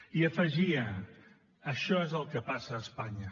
i afegia això és el que passa a espanya